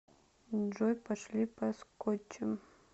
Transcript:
джой пошли поскочем